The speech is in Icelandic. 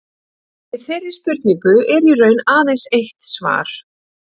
Við þeirri spurningu er í raun aðeins eitt svar.